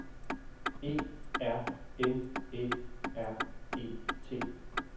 E R N Æ R E T